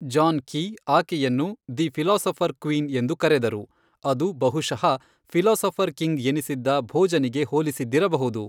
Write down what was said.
John Keay, ಆಕೆಯನ್ನು 'the philosopher queen' ಎಂದು ಕರೆದರು, ಅದು ಬಹುಶಃ 'ಫಿಲಾಸಫರ್ ಕಿಂಗ್' ಎನಿಸಿದ್ದ ಭೋಜನಿಗೆ ಹೋಲಿಸಿದ್ದಿರಬಹುದು.